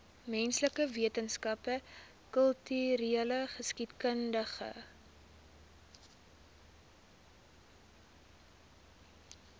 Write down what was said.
menslike wetenskappe kultureelgeskiedkundige